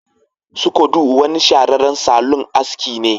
Sukodo wani shahararren salon aski ne